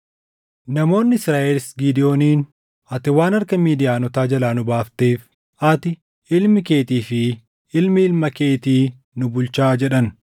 Namoonni Israaʼelis Gidewooniin, “Ati waan harka Midiyaanotaa jalaa nu baafteef ati, ilmi keetii fi ilmi ilma keetii nu bulchaa” jedhan.